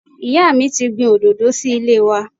Ìyá mi ti gbin Òdòdó sí ilé wa